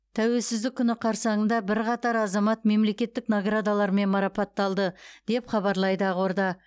тәуелсіздік күні қарсаңында бірқатар азамат мемлекеттік наградалармен марапатталды деп хабарлайды ақорда